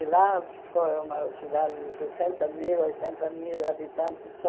E lá foi uma cidade de sessenta mil, oitenta mil habitante só.